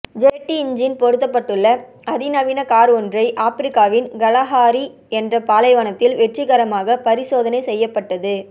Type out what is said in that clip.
jet engine பொருத்தப்பட்டுள்ள அதி நவீன கார் ஒன்றை ஆப்பிரிக்காவின் கலஹாரி என்ற பாலைவனத்தில் வெற்றிகரமாக பரிசோதனை செய்யப்பட்டது